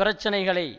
பிரச்சினைகளை